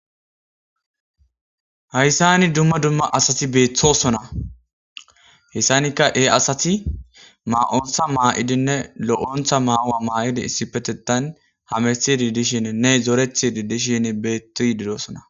Hayssani dumma dumma asati beetthosona hessanikka ee asati maa7ontha maa7idinne lo7ontha maa7a7a maa7idi issipetetan hamesidi dishin ne zorethidi dishin beettoy didosona.